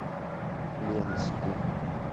ленску